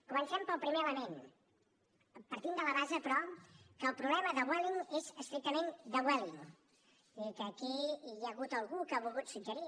comencem pel primer element partint de la base però que el problema de vueling és estrictament de vueling és a dir que aquí hi ha hagut algú que ha volgut suggerir